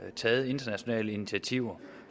taget nogle internationale initiativer